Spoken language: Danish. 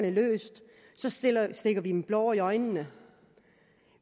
er løst stikker vi dem blår i øjnene